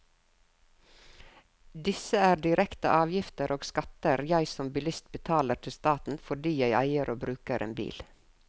Disse er direkte avgifter og skatter jeg som bilist betaler til staten fordi jeg eier og bruker en bil.